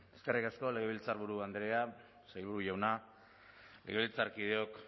eskerrik asko legebiltzarburu andrea sailburu jauna legebiltzarkideok